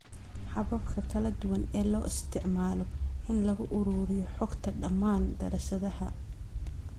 Hababka kala duwan ee loo isticmaalo in lagu ururiyo xogta dhammaan daraasadaha.